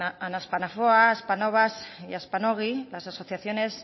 a aspanafoa aspanovas y aspanogi las asociaciones